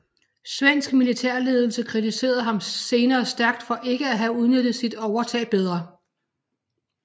Svensk militærledelse kritiserede ham senere stærkt for ikke at have udnyttet sit overtag bedre